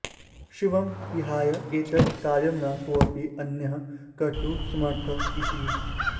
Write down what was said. शिवं विहाय एतत् कार्यं न कोऽपि अन्यः कर्तुं समर्थः इति